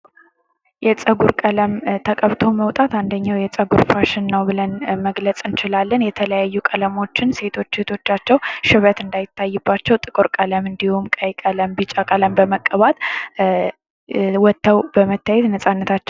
የፀጉር ቀለም ተቀብተው መውጣት አንደኛው የፀጉር ፋሽን ነው ብለን መግለጽ እንችላለን። የተለያዩ ቀለሞችን ሴቶቻቸው ሽበት እንደ ይታይባቸው ጥቁር ቀለም እንዲሁም ቀይ ቀለም፣ ቢጫ ቀለም በመቀባት ወጥተው በመታየት ነጻነታቸው.